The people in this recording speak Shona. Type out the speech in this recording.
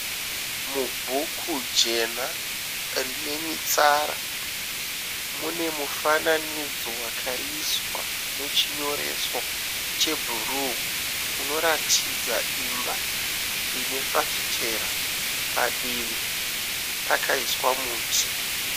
Mubhuku jena rine mitsara mune mufananidzo wakaiswa nechinyoreso chebhuruu unoratidza imba ine fafitera padivi pakaiswa muti.